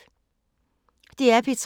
DR P3